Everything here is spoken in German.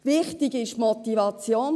Wichtig sei ihre Motivation;